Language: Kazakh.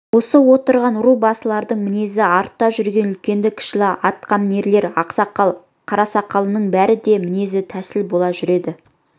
осы отырған ру басылардың мінезі артта жүрген үлкенді-кішілі атқамінер ақсақал қарасақалының бәріне де мінез тәсіл бола жүреді